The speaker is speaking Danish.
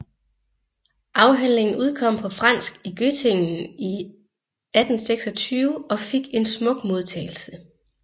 Afhandlingen udkom på fransk i Göttingen i 1826 og fik en smuk modtagelse